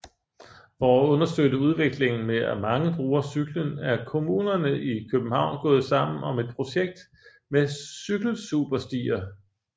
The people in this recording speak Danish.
For at understøtte udviklingen med at mange bruger cyklen er komunerne i København gået sammen om et projekt med Cykelsuperstier